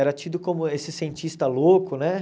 Era tido como esse cientista louco, né?